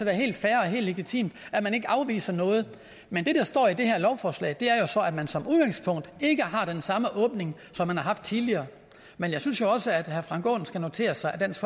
er helt fair og helt legitimt at man ikke afviser noget men det der står i det her lovforslag er at man som udgangspunkt ikke har den samme åbning som man har haft tidligere men jeg synes jo også at herre frank aaen skal notere sig at dansk